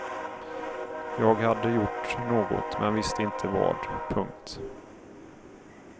Jag hade gjort något men visste inte vad. punkt